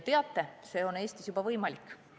Teate, see on Eestis juba võimalik.